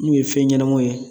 Min me fɛn ɲɛnamaw yɛ